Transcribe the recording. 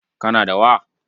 Kana da wa?